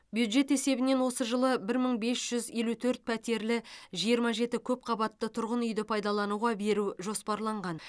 бюджет есебінен осы жылы бір мың бес жүз елу төрт пәтерлі жиырма жеті көпқабатты тұрғын үйді пайдалануға беру жоспарланған